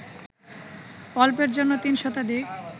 অল্পের জন্য ৩ শতাধিক